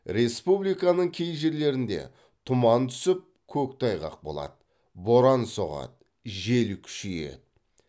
республиканың кей жерлерінде тұман түсіп көктайғақ болады боран соғады жел күшейеді